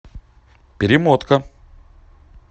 перемотка